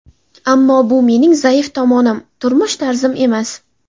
Ammo bu mening zaif tomonim, turmush tarzim emas.